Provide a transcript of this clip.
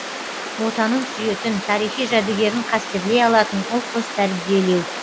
отанын сүйетін тарихи жәдігерін қастерлей алатын ұл қыз тәрбиелеу